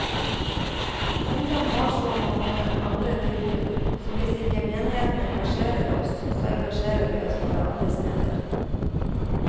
Ungdom har så mange andre tilbud, så hvis ikke menigheten engasjerer oss, så engasjerer vi oss bare andre steder.